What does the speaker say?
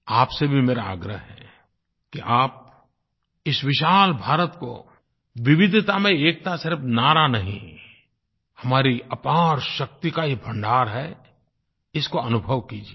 आपसे भी मेरा आग्रह है कि आप इस विशाल भारत को विविधता में एकता सिर्फ़ नारा नहीं हमारी अपारशक्ति का ये भंडार है इसको अनुभव कीजिये